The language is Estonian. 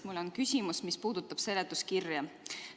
Mul on küsimus, mis puudutab seletuskirja.